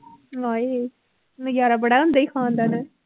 ਹਾਏ ਨਜ਼ਾਰਾ ਬੜਾ ਆਉਂਦਾ ਸੀ ਖਾਣ ਦਾ ਹੈਂ